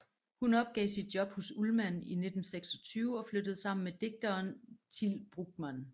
Hun opgav sit job hos Ullman i 1926 og flyttede sammen med digtereren Til Brugman